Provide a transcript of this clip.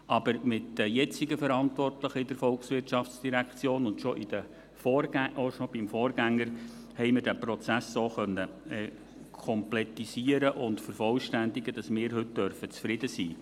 Aber mit den jetzigen Verantwortlichen in der VOL, und schon mit dem Vorgänger, haben wir diesen Prozess so komplettieren und vervollständigen können, dass wir heute zufrieden sein dürfen.